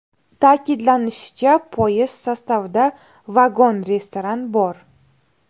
Ta’kidlanishicha, poyezd sostavida vagon-restoran bor.